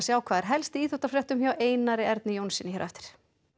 á hvað er helst í íþróttafréttum hjá Einar Erni Jónssyni hér á eftir